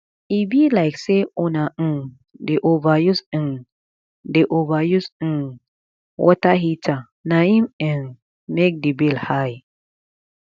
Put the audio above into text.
e be like sey una um dey overuse um dey overuse um water heater na im um make di bill high